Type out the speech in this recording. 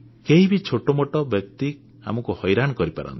କେହି ବି ଛୋଟ ମୋଟ ବ୍ୟକ୍ତି ଆମକୁ ହଇରାଣ କରିପାରନ୍ତି